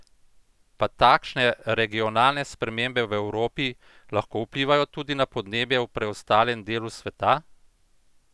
Pa takšne regionalne spremembe v Evropi lahko vplivajo tudi na podnebje v preostalem delu sveta?